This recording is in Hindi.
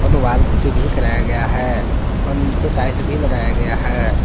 वाल कुट्टी भी कराया गया है और नीचे टाइल्स भी लगाया गया है।